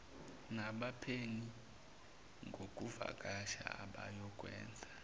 nabaphenyi ngokuvakasha abayokwenza